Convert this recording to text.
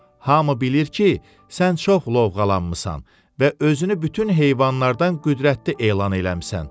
Hamı bilir ki, sən çox lovğalanmısan və özünü bütün heyvanlardan qüdrətli elan eləmisən.